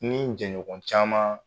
Ni n jɛɲɔgɔn caman